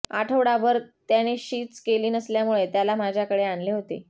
आठवडाभर त्याने शीच केली नसल्यामुळे त्याला माझ्याकडे आणले होते